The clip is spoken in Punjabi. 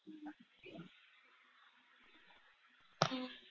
ਹਮ